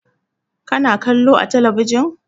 Ka na kallo a talabijin?